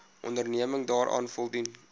onderneming daaraan voldoen